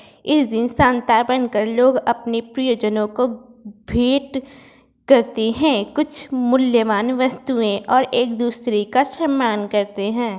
इस दिन सेंटा बन कर लोग अपने प्रियजनों को भेंट करते हैं कुछ मूल्यवान वस्तुएं और एक दूसरे सम्मान करते हैं।